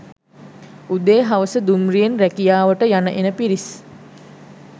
උදේ හවස දුම්රියෙන් රැකියාවට යන එන පිරිස්